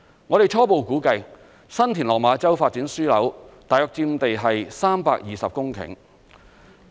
我們初步估計，新田/落馬洲發展樞紐大約佔地320公頃。